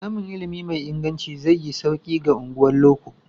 Samun ilimi mai inganci zai yi sauki ga unguwannin loko.